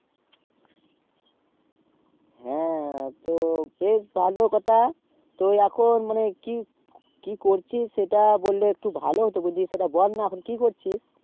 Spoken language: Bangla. হ্যাঁ তো বেশ ভালো কথা তো এখন মানে কি কি করছিস সেটা বললে একটু ভালো হতো বুঝলি সেটা বলনা এখন কি করছি